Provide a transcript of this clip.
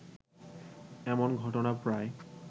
এমন ঘটনা প্রায়